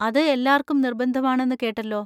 അത് എല്ലാർക്കും നിർബന്ധമാണെന്ന് കേട്ടല്ലോ.